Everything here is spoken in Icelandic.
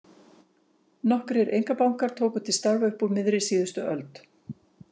Nokkrir einkabankar tóku til starfa upp úr miðri síðustu öld.